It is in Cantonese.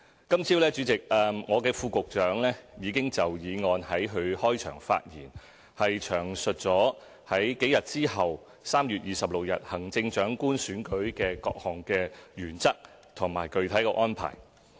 今天早上，我的副局長已經就議案在開場發言詳述幾日之後舉行的行政長官選舉的各項原則和具體安排。